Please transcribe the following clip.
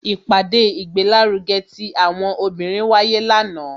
ipade igbelaruge ti àwọn obinrin wáyé lanaa,